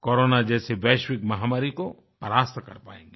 corona जैसी वैश्विकमहामारी को परास्त कर पाएँगे